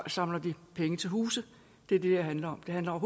samler de penge til huse det er det det handler om det handler